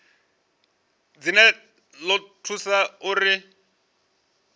dzine dza ḓo thusa uri